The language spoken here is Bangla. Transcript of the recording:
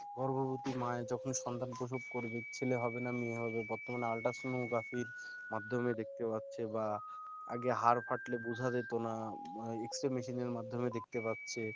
গর্ভবতী মা যখন সন্তান প্রসব করবে ছেলে হবে না মেয়ে হবে বর্তমানে ultrasonography মাধ্যমে দেখতে পাচ্ছে বা আগে হাড় ফাটলে বোঝা যেত না X-ray machine মাধ্যমে দেখতে পারছে